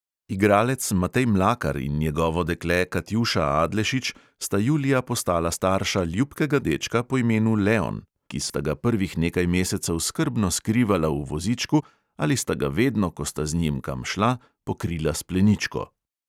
Igralec matej mlakar in njegovo dekle katjuša adlešič sta julija postala starša ljubkega dečka po imenu leon, ki sta ga prvih nekaj mesecev skrbno skrivala v vozičku ali sta ga vedno, ko sta z njim kam šla, pokrila s pleničko.